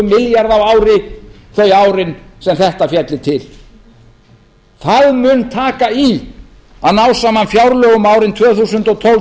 milljarða á ári þau árin sem þetta félli til þá mun taka í að ná saman fjárlögum árin tvö þúsund og tólf til tvö